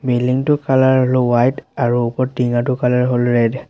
Building টোৰ colour white আৰু ওপৰ টিংঙাটো কালাৰ হ'ল ৰেড ।